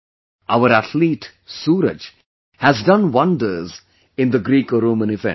Our athlete Suraj has done wonders in the GrecoRoman event